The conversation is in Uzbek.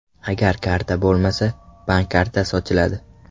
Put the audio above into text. Agar karta bo‘lmasa, bank kartasi ochiladi.